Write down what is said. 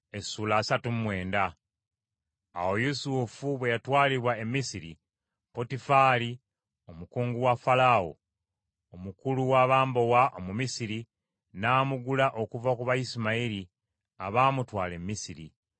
Awo Yusufu bwe yatwalibwa e Misiri, Potifali omukungu wa Falaawo, omukulu w’abambowa Omumisiri n’amugula okuva ku Bayisimayiri abaamutwala e Misiri.